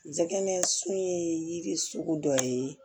Jɛnɛ sun ye yiri sugu dɔ ye